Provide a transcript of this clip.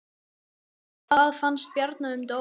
Hvað fannst Bjarna um dóminn?